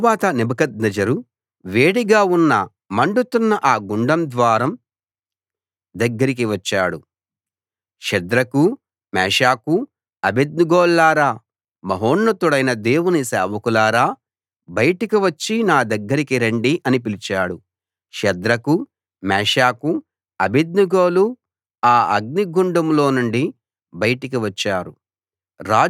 తరువాత నెబుకద్నెజరు వేడిగా ఉన్న మండుతున్న ఆ గుండం ద్వారం దగ్గరికి వచ్చాడు షద్రకు మేషాకు అబేద్నెగోల్లారా మహోన్నతుడైన దేవుని సేవకులారా బయటికి వచ్చి నా దగ్గరికి రండి అని పిలిచాడు షద్రకు మేషాకు అబేద్నెగోలు ఆ అగ్నిలోనుండి బయటికి వచ్చారు